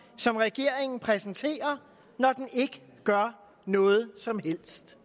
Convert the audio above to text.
som regeringen præsenterer når den ikke gør noget som helst